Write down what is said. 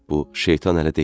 Bu şeytan ələ deyildi.